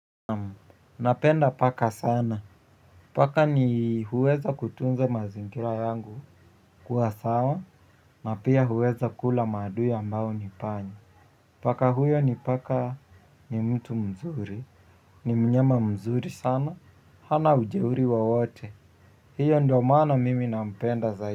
Napenda paka sana, paka ni huweza kutunza mazingira yangu kuwa sawa na pia huweza kula maadui ambao ni panya. Paka huyo ni paka ni mtu mzuri, ni mnyama mzuri sana, hana ujeuri wowote, hiyo ndio maana mimi nampenda zaidi.